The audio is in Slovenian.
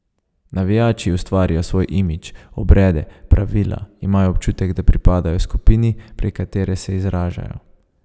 Navijači ustvarijo svoj imidž, obrede, pravila, imajo občutek, da pripadajo skupini, prek katere se izražajo.